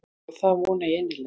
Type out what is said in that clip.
Já það vona ég innilega.